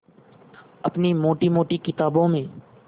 अपनी मोटी मोटी किताबों में